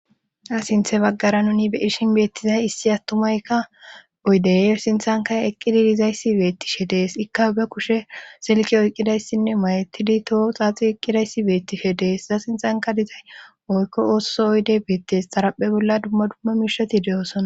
Ha sinthe baggara nuni be irshin beettizay issi attumaykka oydey sinthanka eqqidi dizayssi beettishe dees ikka be kushe silqe oyqqidayssinne mayetidi toho xaaxi eqqidayssi beettishe dees iza sinxanka dizay oykko oosso oyde beettes xaraphe bolla dumma dumma miishati de7osona